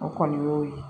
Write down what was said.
O kɔni y'o ye